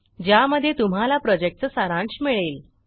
ज्यामध्ये तुम्हाला प्रॉजेक्टचा सारांश मिळेल